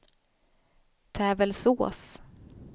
Tävelsås